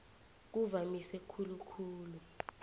kuvamise khulu khulu